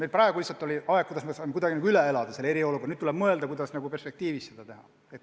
Meil praegu lihtsalt tuli eriolukord kuidagi üle elada, nüüd tuleb mõelda, kuidas perspektiivis asju korraldada.